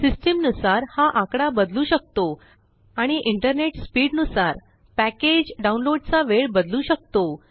system नुसार हा आकडा बदलू शकतो आणि इंटरनेट स्पीडनुसार पॅकेज डाऊनलोडचा वेळ बदलू शकतो